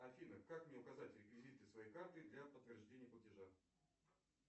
афина как мне указать реквизиты своей карты для подтверждения платежа